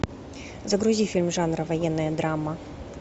загрузи фильм жанра военная драма